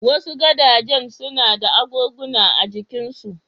Wasu gadajen suna da agoguna a jikinsu.